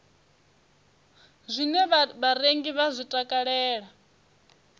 zwine vharengi vha zwi takalela